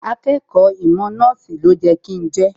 Akẹ́kọ̀ọ́ ìmọ̀ nọ́ọ̀sì ni ó yẹ kí n jẹ́